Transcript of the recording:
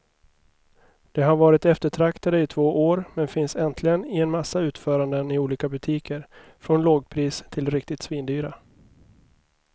De har varit eftertraktade i två år, men finns äntligen i en massa utföranden i olika butiker från lågpris till riktigt svindyra.